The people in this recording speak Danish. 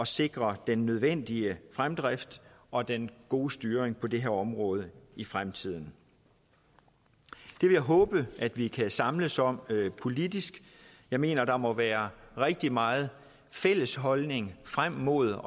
sikre den nødvendige fremdrift og den gode styring på det her område i fremtiden det vil jeg håbe at vi kan samles om politisk jeg mener der må være rigtig meget fælles holdning frem mod